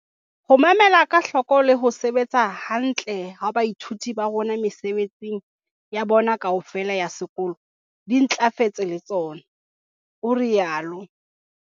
"Ho mamela ka hloko le ho sebetsa hantle ha baithuti ba rona mesebetsing ya bona kaofela ya sekolo di ntlafetse le tsona," o rialo.